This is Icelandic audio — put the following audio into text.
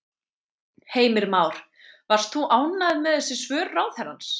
Heimir Már: Varst þú ánægð með þessi svör ráðherrans?